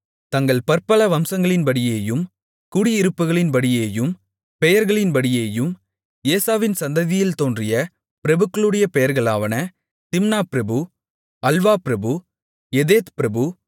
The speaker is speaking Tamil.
தங்கள் பற்பல வம்சங்களின்படியேயும் குடியிருப்புகளின்படியேயும் பெயர்களின்படியேயும் ஏசாவின் சந்ததியில் தோன்றிய பிரபுக்களுடைய பெயர்களாவன திம்னா பிரபு அல்வா பிரபு எதேத் பிரபு